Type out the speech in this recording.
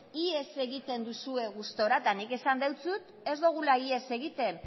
ihes egiten duzue gustura eta nik esan dizut ez dugula ihes egiten